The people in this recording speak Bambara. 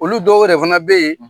Olu dɔw wɛrɛ fana bɛ yen